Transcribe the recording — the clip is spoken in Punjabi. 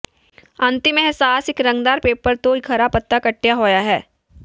ਅੰਤਿਮ ਅਹਿਸਾਸ ਇੱਕ ਰੰਗਦਾਰ ਪੇਪਰ ਤੋਂ ਇੱਕ ਹਰਾ ਪੱਤਾ ਕੱਟਿਆ ਹੋਇਆ ਹੈ